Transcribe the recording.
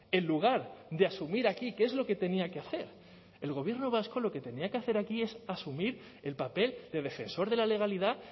en lugar de asumir aquí qué es lo que tenía que hacer el gobierno vasco lo que tenía que hacer aquí es asumir el papel de defensor de la legalidad